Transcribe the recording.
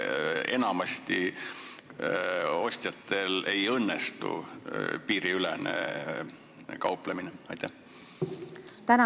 Mille pärast ostjatel enamasti ei õnnestu piiriülene kauplemine?